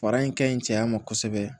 Fara in ka ɲi cɛya ma kosɛbɛ